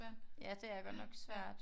Ja det er godt nok svært